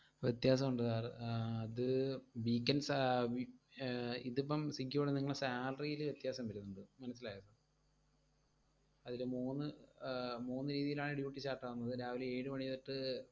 വ്യത്യാസവുണ്ട് sir ആഹ് അത് weekends ആഹ് വി~ അഹ് ഇതിപ്പം സ്വിഗ്ഗിയോട് നിങ്ങളെ salary ഈല് വ്യത്യാസം വരും എന്തൊ, മനസ്സിലായോ sir അതില് മൂന്ന് ആഹ് മൂന്ന് രീതിയിലാണ് duty start ആവുന്നത് രാവിലെ ഏഴുമണി തൊട്ട്